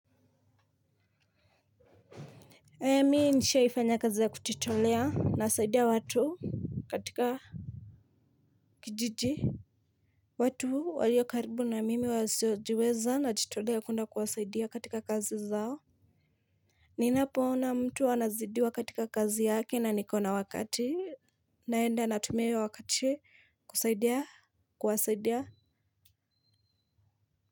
Mi nishaifanya kazi ya kuchitolea nasaidia watu katika kijiji. Watu walio karibu na mimi waziojiweza nachitolea kwenda kuwasaidia katika kazi zao ninapo ona mtu anazidiwa katika kazi yake na niko na wakati naenda natumia io wakati kusaidia kuwasaidia.